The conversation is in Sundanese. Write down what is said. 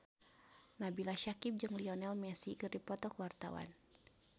Nabila Syakieb jeung Lionel Messi keur dipoto ku wartawan